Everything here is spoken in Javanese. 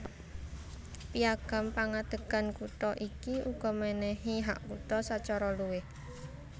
Piagam pengadegan kutha iki uga menehi hak kutha sacara luwih